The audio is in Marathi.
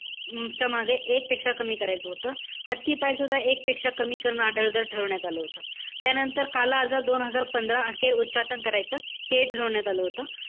च्या मागे एक पेक्षा कमी करायचं होतं. हत्तीपायसुद्धा एक पेक्षा कमी करणं हा दर ठरवण्यात आलं होतं. त्यानंतर काला आजार, दोन हजार पंधरा अखेर उच्चाटन करायचं. हे ठरवण्यात आलं होतं.